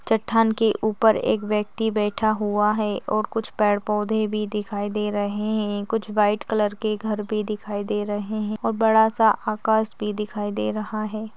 चट्टान की उपर एक व्यक्ति बैठा हुआ है और कुछ पेड पौधे भी दिखाई दे रहे है कुछ व्हाइट कलर के घर भी दिखाई दे रहे है और बडा सा आकाश भी दिखाई दे रहा है।